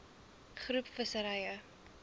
groep visserye